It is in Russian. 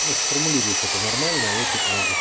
ну сформулируешь это нормально а я тебе помогу